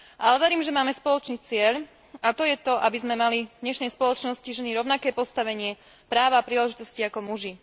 Ale verím, že máme spoločný cieľ, a to je to, aby sme, my ženy, mali v dnešnej spoločnosti rovnaké postavenie, práva a príležitosti ako muži.